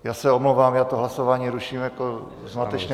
Já se omlouvám, já to hlasování ruším jako zmatečné.